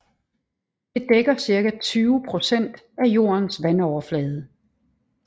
Det dækker cirka 20 procent af jordens vandoverflade